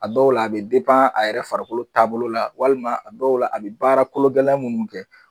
A dɔw la a be a yɛrɛ farikolo taabolo la walima a dɔw la a be baara kologɛlɛn munnu kɛ.